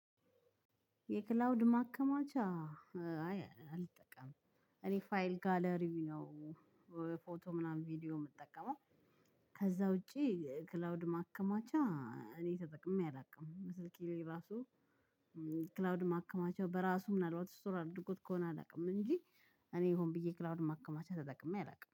የክላውድ ማከማቻ አይ አልጠቀምም እኔ ፋይል ጋለሪ ነው ፎቶ ምናምን ቪዲዮ የምጠቀመው። ከዛ ውጪ ክላውድ ማከማቻ እኔ ተጠቅሜ አላውቅም ስልኬ ላይ ራሱ። ክላውድ ማከማቸው በራሱ ምናልባት ስቶር አድርጎት ከሆነ አላውቅም እንጂ እኔ ይሁን ብዬ ክላውንድ ማከማቻ ተጠቅሜ አላውቅም